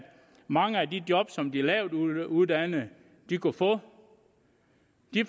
mange af de job som de lavtuddannede kunne få